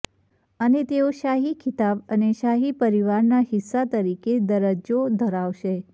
અને તેઓ શાહી ખિતાબ અને શાહી પરિવારના હિસ્સા તરીકે દરજ્જો ધરાવશે